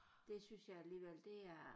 Det synes jeg alligevel det er